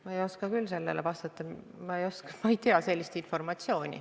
Ma ei oska küll sellele vastata, ma ei tea sellist informatsiooni.